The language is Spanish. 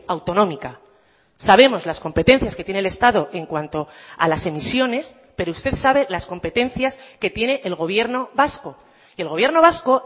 autonómica sabemos las competencias que tiene el estado en cuanto a las emisiones pero usted sabe las competencias que tiene el gobierno vasco y el gobierno vasco